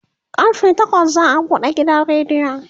karfe takwas za'a buɗe gidan rediyon